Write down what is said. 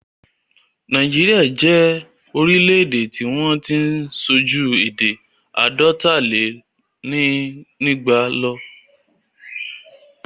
Nàíjíríà jẹ́ orílẹ̀-èdè tí wọ́n tí ń sọ ju èdè àádọ́talénígba lọ.